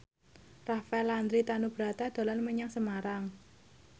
Rafael Landry Tanubrata dolan menyang Semarang